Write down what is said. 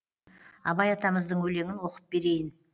абай атамыздың өлеңін оқып берейін